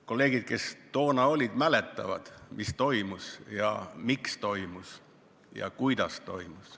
Kolleegid, kes toona olid, mäletavad, mis toimus ja miks toimus ja kuidas toimus.